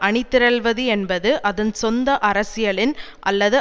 அணிதிரள்வது என்பது அதன் சொந்த அரசியலின் அல்லது